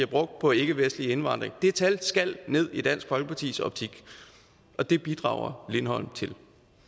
brugt på ikkevestlig indvandring det tal skal ned i dansk folkepartis optik og det bidrager lindholm til